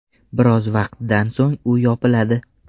Biroz vaqtdan so‘ng u yopiladi.